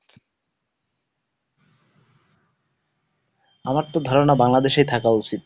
আমার তো ধারণা বাংলাদেশেই থাকা উচিত।